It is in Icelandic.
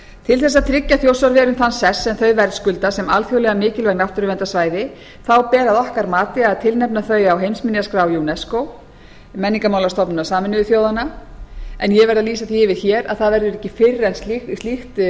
til þess að tryggja þjórsárverum þann sess sem þau verðskulda sem alþjóðlega mikilvægt náttúruverndarsvæði ber að okkar mati að tilnefna þau á heimsminjaskrá unesco menningarmálastofnunar sameinuðu þjóðanna en ég verð að lýsa því yfir hér að það verður ekki fyrr en slíkt